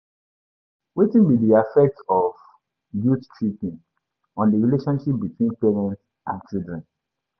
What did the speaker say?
Wetin be di affect of guilt-tripping on di relationship between parents and children?